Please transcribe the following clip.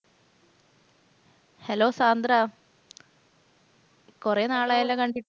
hello Sandra കുറേ നാളായല്ലോ കണ്ടിട്ട്?